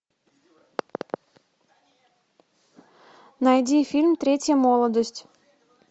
найди фильм третья молодость